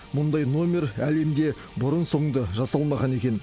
мұндай номер әлемде бұрын соңды жасалмаған екен